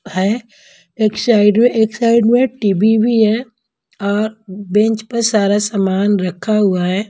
है एक साइड में एक साइड में टी_वी भी है और बेंच पर सारा सामान रखा हुआ है।